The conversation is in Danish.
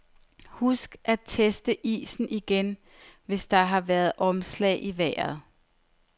Husk at teste isen igen, hvis der har været omslag i vejret.